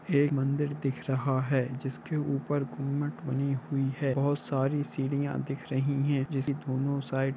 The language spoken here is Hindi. यह एक मदिर दिख रहा है जिसे ऊपर घूमट बनी हुई है और बहुत साडी सीडिया दिख रही है जैसे दोनों साइड --